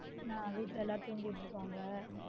நான் வீட்ல எல்லாரும் தூங்கிட்டுருக்காங்க